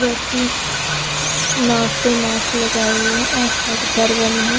व्यक्ति नाक पे मास्क लगाए हुए हैंआसपास घर बने हैं।